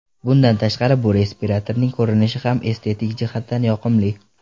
Bundan tashqari bu respiratorning ko‘rinishi ham estetik jihatdan yoqimli.